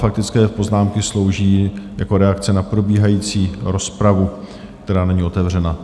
Faktické poznámky slouží jako reakce na probíhající rozpravu, která není otevřená.